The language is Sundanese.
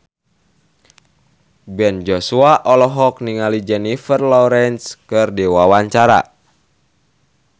Ben Joshua olohok ningali Jennifer Lawrence keur diwawancara